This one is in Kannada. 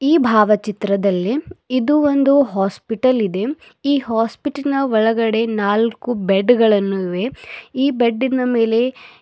ಈ ಭಾವಚಿತ್ರದಲ್ಲಿ ಇದು ಒಂದು ಹಾಸ್ಪಿಟಲ್ ಇದೆ ಈ ಹಾಸ್ಪಿಟಲ್ ನ ಒಳಗಡೆ ನಾಲ್ಕು ಬೆಡ್ ಗಳನ್ನು ಇವೆ ಈ ಬೆಡ್ಡಿನ ಮೇಲೆ--